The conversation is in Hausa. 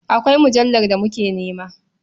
Akwai mujallar da muke nema.